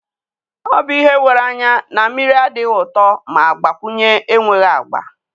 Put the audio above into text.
O bụ ihe wéré anya na mmiri adịghị ụtọ ma gbakwunye enweghị agba.